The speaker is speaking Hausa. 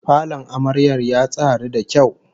Falon amaryar ya tsari da kyau